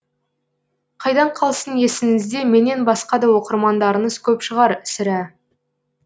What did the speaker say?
қайдан қалсын есіңізде менен басқа да оқырмандарыңыз көп шығар сірә